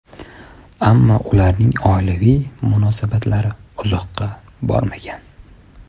Ammo ularning oilaviy munosabatlari uzoqqa bormagan.